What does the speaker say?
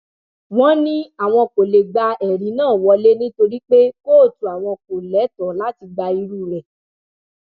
wọn ní àwọn kò lè gba ẹrí náà wọlẹ nítorí pé kóòtù àwọn kò lẹtọọ láti gba irú rẹ